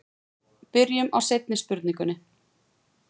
Byrjum á seinni spurningunni.